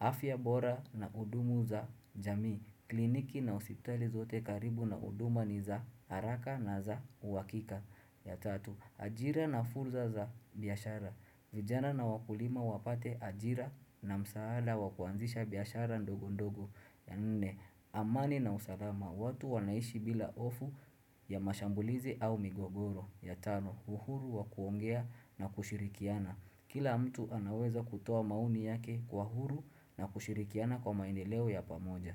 afya bora na hudumu za jamii, kliniki na hosptali zote karibu na huduma ni za haraka na za huakika. Ya tatu, ajira na fursa za biashara, vijana na wakulima wapate ajira na msaada wakuanzisha biashara ndogo ndogo. Ya nne, amani na usalama, watu wanaishi bila hofu ya mashambulizi au migogoro. Ya tano, uhuru wakuongea na kushirikiana, kila mtu anaweza kutoa mauni yake kwa huru na kushirikiana kwa maendeleo ya pamoja.